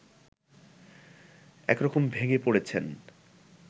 একরকম ভেঙ্গে পড়েছেন